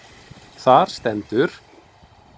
Þar stendur: